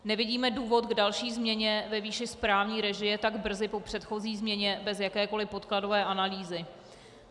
Nevidíme důvod k další změně ve výši správní režie tak brzy po předchozí změně bez jakékoliv podkladové analýzy.